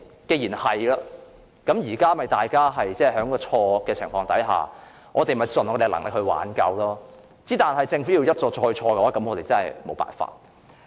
既然如此，大家只能在已經錯誤的情況下盡力挽救，但政府要一錯再錯，我們也沒有辦法。